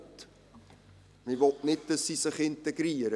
Man will nicht, dass sie sich hier integrieren.